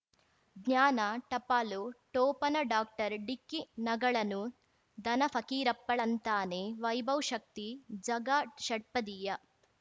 ಜ್ಞಾನ ಟಪಾಲು ಠೊಪಣ ಡಾಕ್ಟರ್ ಢಿಕ್ಕಿ ಣಗಳನು ಧನ ಫಕೀರಪ್ಪ ಳಂತಾನೆ ವೈಭವ್ ಶಕ್ತಿ ಝಗಾ ಷಟ್ಪದಿಯ